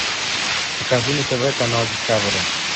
покажи на тв канал дискавери